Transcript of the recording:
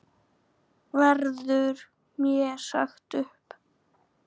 Verður mér sagt upp?